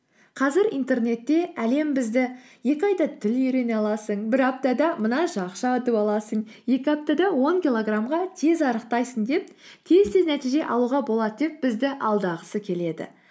қазір интернетте әлем бізді екі айда тіл үйрене аласың бір аптада мынанша ақша ұтып аласың екі аптада он килограммға тез арықтайсың деп тез тез нәтиже алуға болады деп бізді алдағысы келеді